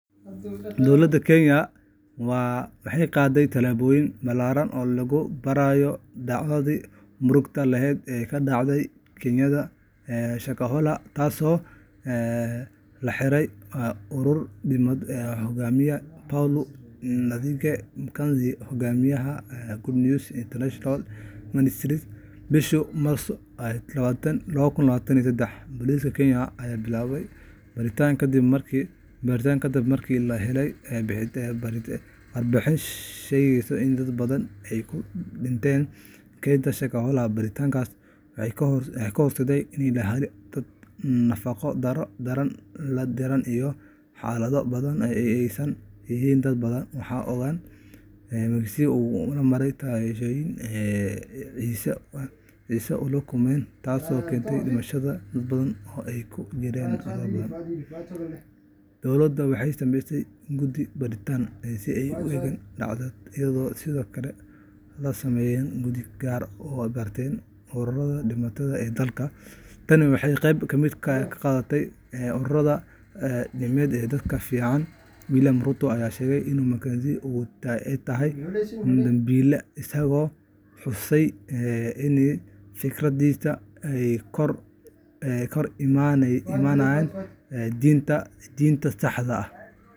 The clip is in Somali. Dowladda Kenya waxay qaaday tallaabooyin ballaaran oo lagu baarayo dhacdadii murugada lahayd ee ka dhacday kaynta Shakahola, taasoo la xiriirtay urur diimeed uu hogaaminayay Paul Nthenge Mackenzie, hogaamiyaha Good News International Ministries. Bishii Maarso 2023, booliska Kenya ayaa bilaabay baaritaan kadib markii la helay warbixin sheegaysa in dad badan ay ku dhinteen kaynta Shakahola. Baaritaannadaas waxay horseedeen in la helo dad nafaqo-darro daran la ildaran iyo xabaalo badan oo ay ku aasan yihiin dad badan. Waxaa la ogaadey in Mackenzie uu ku amray taageerayaashiisa inay isgaajeysiiyaan si ay "Ciise ula kulmaan", taasoo keentay dhimashada dad badan, oo ay ku jiraan carruur badan. Dowladdu waxay sameysay guddi baaritaan si ay u eegaan dhacdadaas, iyadoo sidoo kale la sameeyay guddi gaar ah oo baaraya ururada diimeed ee dalka. Tani waxay qayb ka tahay dadaalka lagu doonayo in la xakameeyo ururada diimeed ee aan si fiican loo maamulin. Madaxweynaha Kenya, William Ruto, ayaa sheegay in Mackenzie uu yahay dambiile, isagoo xusay in fikradihiisa ay ka hor imaanayaan diinta saxda ah.